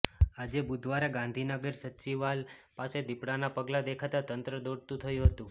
આજે બુધવારે ગાંધીનગર સચિવાલ પાસે દીપડાના પગલા દેખાતા તંત્ર દોડતું થયું હતું